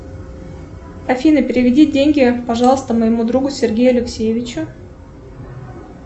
афина переведи деньги пожалуйста моему другу сергею алексеевичу